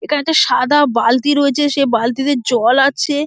এখানে একটা সাদা বালতি রয়েছে সে বালতিতে জল আছে।